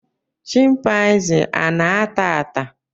chịmpaizịn ana ata ata?